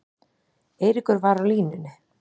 Eiríkur var á línunni.